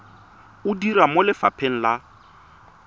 o dira mo lefapheng la